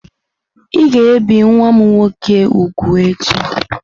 Ị ga-ebi nwa m nwoke úgwù echi!